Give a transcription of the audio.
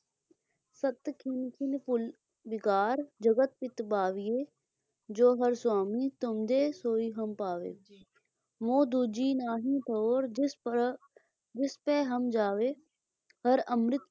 ਸੁਤੁ ਖਿਨੁ ਖਿਨੁ ਭੂਲਿ ਬਿਗਾਰਿ ਜਗਤ ਪਿਤ ਭਾਵਹਿਗੇ, ਜੋ ਹਰਿ ਸੁਆਮੀ ਤੁਮ ਦੇਹੁ ਸੋਈ ਹਮ ਪਾਵਿਹਗੇ, ਮੋਹਿ ਦੂਜੀ ਨਾਹੀ ਠਉਰ ਜਿਸੁ ਪਹਿ ਹਮ ਜਾਵਹਗੇ, ਹਰਿ ਅੰਮ੍ਰਿਤ